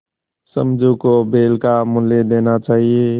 समझू को बैल का मूल्य देना चाहिए